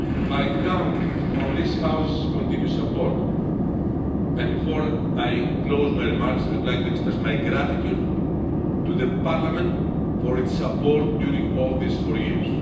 I count on this House's continued support and before I close my remarks, I would like to express my gratitude to Parliament for its support during all these four years.